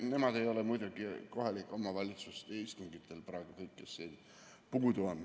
Nad ei ole muidugi kohalike omavalitsuste istungitel praegu, kõik, kes siit puudu on.